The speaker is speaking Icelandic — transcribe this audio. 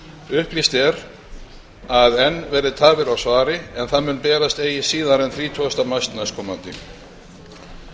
upplýst er að enn verði tafir á svari en það muni berast eigi síðar þrítugasta mars næstkomandi